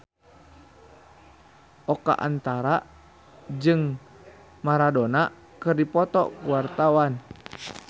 Oka Antara jeung Maradona keur dipoto ku wartawan